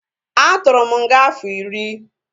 A tụrụ m nga afọ iri